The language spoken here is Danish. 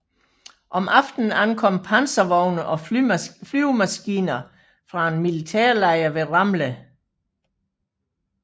Om aftenen ankom panservogne og flyvemaskiner fra en militærlejr ved Ramleh